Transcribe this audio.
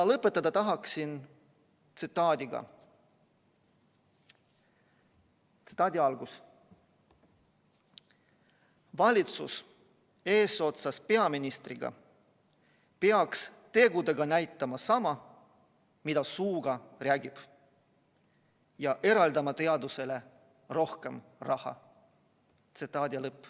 Lõpetada tahan tsitaadiga: "Valitsus eesotsas peaministriga peaks tegudega näitama sama, mida suuga räägib, ja eraldama teadusele rohkem raha.